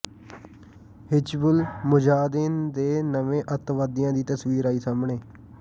ਹਿਜ਼ਬੁਲ ਮੁਜਾਹਦੀਨ ਦੇ ਨਵੇਂ ਅੱਤਵਾਦੀਆਂ ਦੀ ਤਸਵੀਰ ਆਈ ਸਾਹਮਣੇ